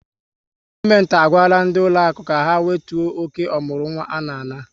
Gọọmenti a gwara ndị ụlọakụ ka ha wetuo oke ọmụrụnwa ha na-ana